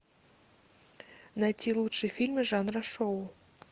найти лучшие фильмы жанра шоу